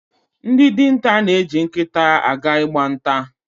Ndị dinta na-eji nkịta aga Ị gba nta.